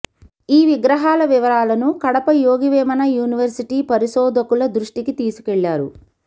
ఈ విగ్రహాల వివరాలను కడప యోగి వేమన యూనివర్శిటీ పరిశోధకుల దృష్టికి తీసుకెళ్లారు